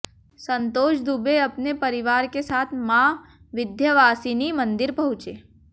संतोष दुबे अपने परिवार के साथ मां विंध्यवासिनी मंदिर पहुंचे